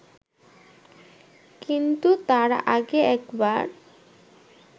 কিন্তু তার আগে একবার